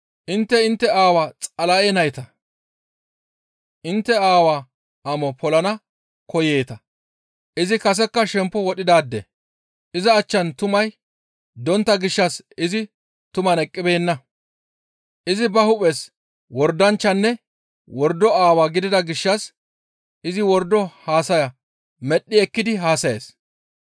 Intte intte aawaa Xala7e nayta; intte aawaa amo polana koyeeta; izi kasekka shemppo wodhidaade. Iza achchan tumay dontta gishshas izi tuman eqqibeenna; izi ba hu7es wordanchchanne wordo aawaa gidida gishshas izi wordo haasaya baappe medhdhi ekkidi haasayees.